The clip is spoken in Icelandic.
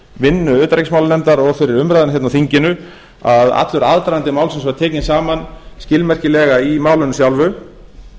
vinnu utanríkismálanefndar og fyrir umræðuna hérna á þinginu að allur aðdragandi málsins var tekinn saman skilmerkilega í málinu sjálfu